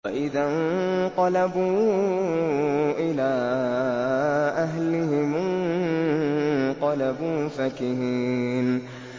وَإِذَا انقَلَبُوا إِلَىٰ أَهْلِهِمُ انقَلَبُوا فَكِهِينَ